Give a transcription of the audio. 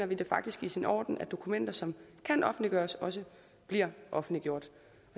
vi det faktisk i sin orden at dokumenter som kan offentliggøres også bliver offentliggjort